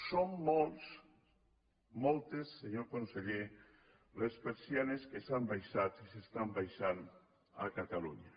són moltes senyor conseller les persianes que s’han abaixat i s’estan abaixant a catalunya